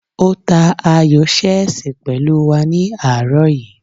Ó ta ayò ṣẹ́ẹ̀sì pẹ̀lú wa ní àárọ̀ yìí